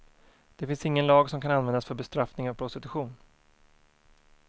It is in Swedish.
Det finns ingen lag som kan användas för bestraffning av prostitution.